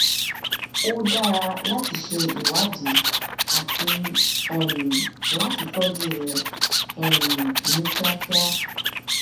ó ó dára láti ṣe ìwádìí àti um láti tọjú rẹ um ní kíákíá